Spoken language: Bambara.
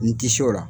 N ti se o la